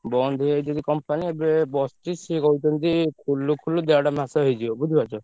ବନ୍ଦ ହେଇଯାଇଚି company ଏବେ ବସଚି। ସିଏ କହୁଛନ୍ତି ଖୋଲୁ ଖୋଲୁ ଦେଢ ମାସ ହେଇଯିବ ବୁଝିପାରୁଛ।